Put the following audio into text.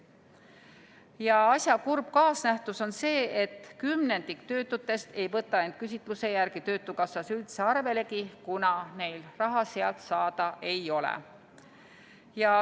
Ja asja kurb kaasnähtus on see, et kümnendik töötutest ei võta end küsitluse järgi töötukassas üldse arvelegi, kuna neil raha sealt saada ei ole.